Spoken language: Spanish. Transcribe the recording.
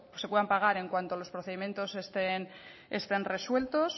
se puedan pagar en cuanto los procedimientos estén resueltos